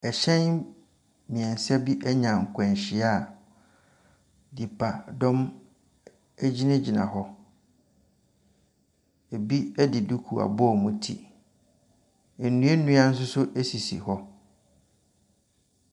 Ɛhyɛn mmiɛnsa anya akwanhyia a nnipadɔm egyinagyina hɔ. Ebi de duku abɔ wɔn ti. Nnua nso so sisi hɔ.